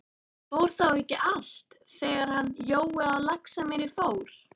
Fór þá ekki allt, þegar hann Jói á Laxamýri fór?